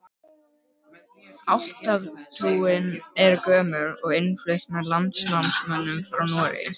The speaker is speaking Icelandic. Álfatrúin er gömul og innflutt með landnámsmönnum frá Noregi.